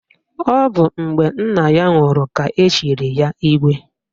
Ọ bụ mgbe nna ya nwụrụ ka echiri ya Igwe